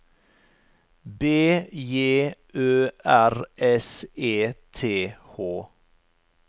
B J Ø R S E T H